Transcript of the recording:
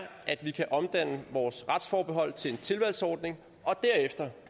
at vi kan omdanne vores retsforbehold til en tilvalgsordning og derefter